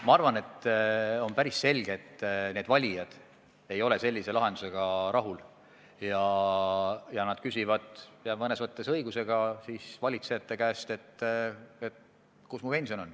Minu arvates on päris selge, et need valijad ei ole sellise lahendusega rahul ja nad küsivad – ja mõnes mõttes õigusega – riigivalitsejate käest, kus mu pension on.